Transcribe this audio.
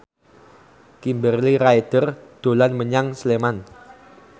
Kimberly Ryder dolan menyang Sleman